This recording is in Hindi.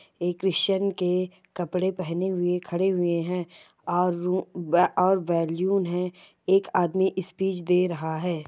ए क्रिस्चियन के कपड़े पहने हुए खड़े हुए हैं और रु बा और बैलून हैं। एक आदमी स्पीच दे रहा है।